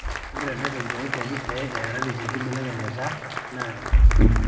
ore erreten oonkuapi pee eerareki nkibelekenyat naa enetipat